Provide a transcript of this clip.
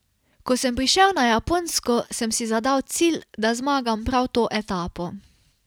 Ko sem prišel na Japonsko, sem si zadal cilj, da zmagam prav to etapo.